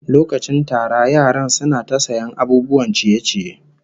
Lokacin tara yaran suna ta sayan abubuwan ciye-ciye